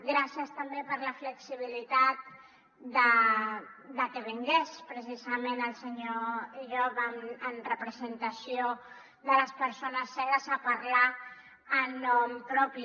gràcies també per la flexibilitat de que vingués precisament el senyor llop en representació de les persones cegues a parlar en nom propi